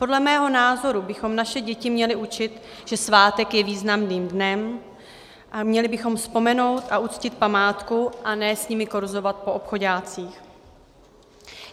Podle mého názoru bychom naše děti měli učit, že svátek je významným dnem a měli bychom vzpomenout a uctít památku a ne s nimi korzovat po obchoďácích.